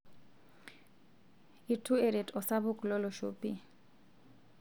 itu eret osapuk lolosho pi